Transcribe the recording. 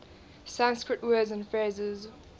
sanskrit words and phrases